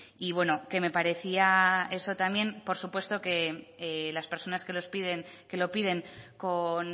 y bueno que me parecía eso también por supuesto que las personas que los piden que lo piden con